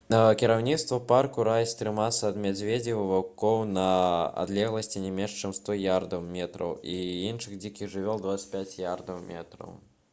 кіраўніцтва парку раіць трымацца ад мядзведзяў і ваўкоў на адлегласці не менш чым 100 ярдаў метраў і ад іншых дзікіх жывёл — 25 ярдаў метраў!